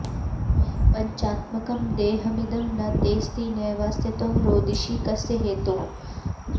पञ्चात्मकं देहमिदं न तेस्ति नैवास्य त्वं रोदिषि कस्य हेतोः